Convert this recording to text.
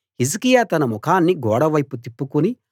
హిజ్కియా తన ముఖాన్ని గోడవైపు తిప్పుకుని